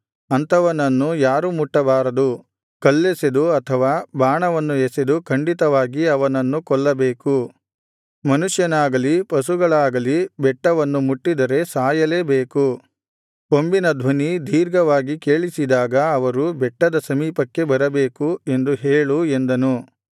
ಅಂಥವನನ್ನು ಯಾರೂ ಮುಟ್ಟಬಾರದು ಕಲ್ಲೆಸೆದು ಅಥವಾ ಬಾಣವನ್ನು ಎಸೆದು ಖಂಡಿತವಾಗಿ ಅವನನ್ನು ಕೊಲ್ಲಬೇಕು ಮನುಷ್ಯನಾಗಲಿ ಪಶುಗಳಾಗಲಿ ಬೆಟ್ಟವನ್ನು ಮುಟ್ಟಿದರೆ ಸಾಯಲೇಬೇಕು ಕೊಂಬಿನ ಧ್ವನಿ ದೀರ್ಘವಾಗಿ ಕೇಳಿಸಿದಾಗ ಅವರು ಬೆಟ್ಟದ ಸಮೀಪಕ್ಕೆ ಬರಬೇಕು ಎಂದು ಹೇಳು ಎಂದನು